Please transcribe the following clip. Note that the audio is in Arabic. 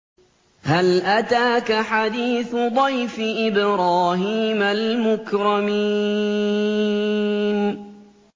هَلْ أَتَاكَ حَدِيثُ ضَيْفِ إِبْرَاهِيمَ الْمُكْرَمِينَ